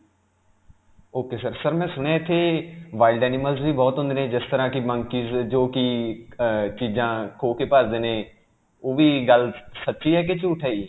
ok sir. sir, ਮੈਂ ਸੁਣਿਆ ਇਥੇ wild animals ਵੀ ਬਹੁਤ ਹੁੰਦੇ ਨੇ ਜਿਸ ਤਰ੍ਹਾਂ ਕਿ monkeys ਜੋਕਿ ਅਅ ਚੀਜ਼ਾਂ ਖੋਹ ਕੇ ਭਜਦੇ ਨੇ. ਉਹ ਵੀ ਗੱਲ ਸੱਚੀ ਹੈ ਕਿ ਝੂਠ ਹੈ ਜੀ?